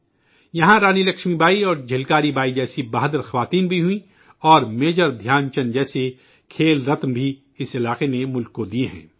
یہاں رانی لکشمی بائی اور جھلکاری بائی جیسی بہادر خواتین بھی ہوئی ہیں اور میجر دھیان چند جیسے کھیل رتن بھی اس خطے نے ملک کو دیئے ہیں